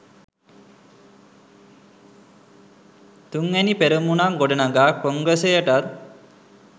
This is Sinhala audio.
තුන්වැනි පෙරමුණක් ගොඩනගා කොංග්‍රසයටත්